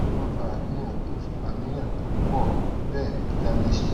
kí ló ń fa àníyàn tó àníyàn tó pò tó béè kí la lè ṣe